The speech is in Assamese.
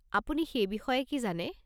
আপুনি সেই বিষয়ে কি জানে?